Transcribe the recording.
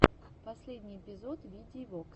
последний эпизод видии вокс